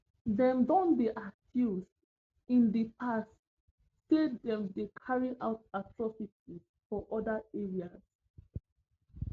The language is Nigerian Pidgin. dem don dey accused in di past say dem dey carry out atrocities for oda areas